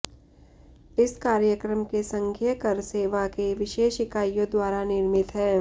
इस कार्यक्रम के संघीय कर सेवा के विशेष इकाइयों द्वारा निर्मित है